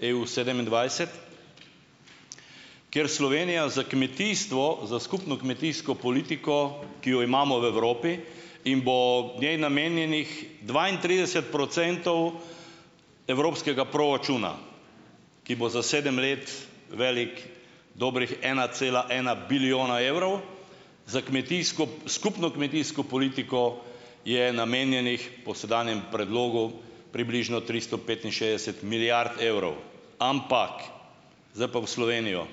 EU sedemindvajset kjer Slovenija za kmetijstvo, za skupno kmetijsko politiko, ki jo imamo v Evropi in bo njej namenjenih dvaintrideset procentov evropskega proračuna, ki bo za sedem let velik dobrih ena cela ena bilijona evrov, za kmetijsko, skupno kmetijsko politiko je namenjenih, po sedanjem predlogu, približno tristo petinšestdeset milijard evrov, ampak zdaj pa v Slovenijo.